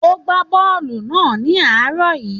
Ó ń gbá bọ́ọ̀lù náà ní àárọ̀ yìí.